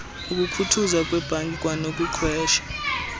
ukukhuthuzwa kweebhanki kwanokuqhwesha